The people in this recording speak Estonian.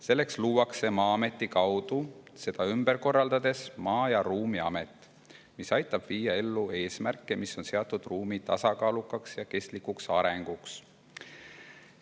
Selleks luuakse Maa-ameti kaudu seda ümber korraldades Maa- ja Ruumiamet, mis aitab viia ellu eesmärke, mis on seatud ruumi tasakaalukaks ja kestlikuks arendamiseks.